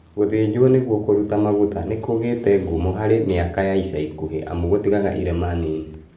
Gũthĩnjwo nĩguo kũruta maguta nĩkũgĩte ngumo harĩ mĩaka ya ica ikuhĩ amu itigaga irema nini